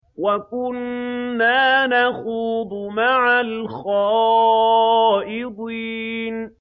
وَكُنَّا نَخُوضُ مَعَ الْخَائِضِينَ